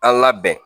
A labɛn